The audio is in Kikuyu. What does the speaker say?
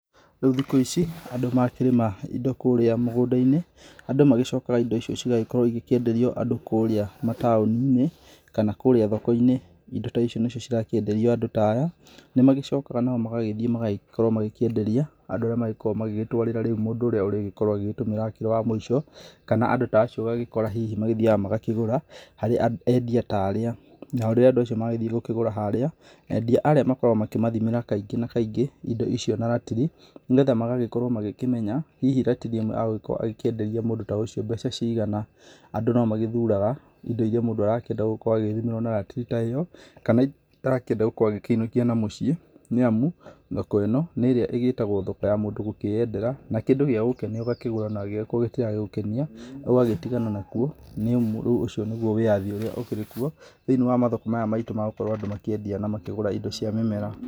Rĩu thikũ ici andũ makĩrĩma indo kũrĩa mĩgũnda-ini, andũ magĩcokaga indo icio cigagĩkorwo igĩkĩenderio andũ kũrĩa mataũni-inĩ kana kũrĩa thoko-inĩ. Indo ta icio nĩ cio cirakĩenderio andũ ta aya, nĩmagĩcokaga nao magagĩthiĩ magagĩkorwo magĩkĩenderia andũ arĩa marĩgĩkorwo magĩtwĩra mũndũ ũrĩa ũrĩgĩkorwo agĩgĩtũmĩra arĩ wa mũico. Kana andũ ta acio ũgagĩkora hihi magĩthiaga magakĩgũra harĩ endia ta arĩa. Nao rĩrĩa andũ magĩthiĩ gũkĩgũra harĩa endia arĩa, makoragwo makĩmathimĩra kaingĩ kaingĩ indo icio na ratiri nĩgetha magagĩkorwo makĩmenya hihi ratiri ĩmwe agũgĩkorwo akĩkĩenderia mũndũ ta ũcio mbeca cigana. Andũ nomagĩthuraga indo iria mũndũ arakĩenda gũkorwo agĩthimĩrwo na ratiri ta ĩyo, kana kĩrĩa arakĩenda gũkorwo agĩkĩinũkia na mũciĩ, nĩ amu thoko ĩno nĩ ĩrĩa ĩgĩtagwo thoko ya mũndũ kwĩyendera, na kĩndũ gĩagũkenia nĩ ũgakĩgũra, na akorwo gĩtiragũkenia ũgagĩtigana nakuo. Nĩ amu ũcio nĩguo wĩathi urĩa ukĩrĩ kuo thĩinĩ wa mathoko maya maitũ magũkorwo andũ makĩendia na makĩgũra indo cia mĩmera.